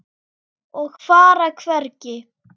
Og fara hvergi.